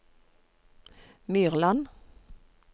Myrland